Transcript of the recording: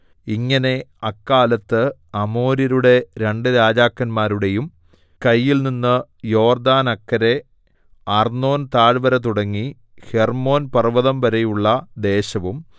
ഇങ്ങനെ അക്കാലത്ത് അമോര്യരുടെ രണ്ടു രാജാക്കന്മാരുടേയും കയ്യിൽനിന്ന് യോർദ്ദാനക്കരെ അർന്നോൻതാഴ്വരതുടങ്ങി ഹെർമ്മോൻപർവ്വതംവരെയുള്ള ദേശവും